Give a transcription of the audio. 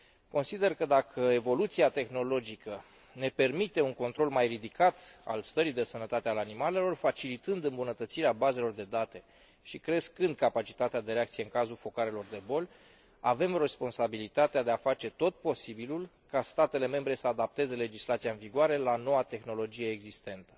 Consider că, dacă evoluția tehnologică ne permite un control mai ridicat al stării de sănătate a animalelor, facilitând îmbunătățirea bazelor de date și crescând capacitatea de reacție în cazul focarelor de boli, avem responsabilitatea de a face tot posibilul ca statele membre să adapteze legislația în vigoare la noua tehnologie existentă.